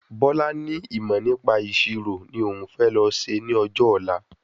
Bọ́lá ní ìmọ̀ nípa ìṣirò ni òún fẹ lọ ṣe ní ọjọ́ ọ̀la